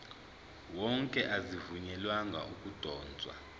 wonke azivunyelwanga ukudotshwa